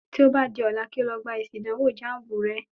Tí o bá di ọ̀la kí o lọ gbá èsì ìdánwò jáànbù re